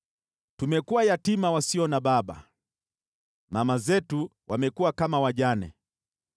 Tumekuwa yatima wasio na baba, mama zetu wamekuwa kama wajane.